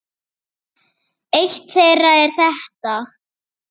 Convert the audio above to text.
Eitt þeirra er þetta